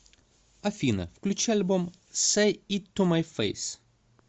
афина включи альбом сэй ит ту май фэйс